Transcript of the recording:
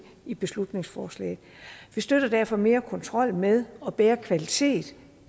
i beslutningsforslaget vi støtter derfor mere kontrol med og bedre kvalitet